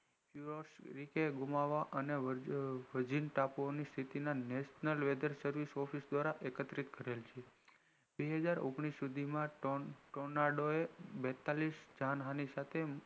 તરીકે ઘુમવા અને ટાપુ ની સ્થિતિ national weatherservice દ્વારા એકત્રિત કરેલ છે બે હાજર ઓગણીશ સુધી માં tornado એ બેતાલીશ જાણ હાનિ સાથે